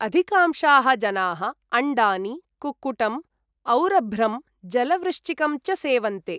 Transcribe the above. अधिकांशाः जनाः अण्डानि, कुक्कुटं, औरभ्रं, जलवृश्चिकं च सेवन्ते।